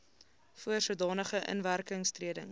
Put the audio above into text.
voor sodanige inwerkingtreding